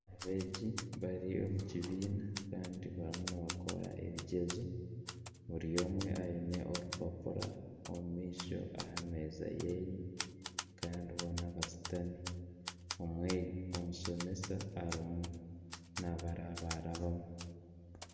Abeegi bari omu kibiina kandi bariyo nibakora ebigyezo buri omwe aine orupapura omu maisho aha meeza yeye kandi boona bashutami omushomesa arimu naabarabarabamu